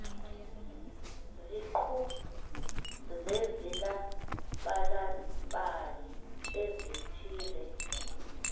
iziqu zezilabalabi ezithile